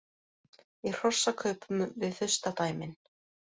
Í hrossakaupum við furstadæmin